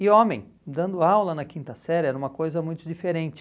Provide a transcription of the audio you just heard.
E homem, dando aula na quinta série era uma coisa muito diferente.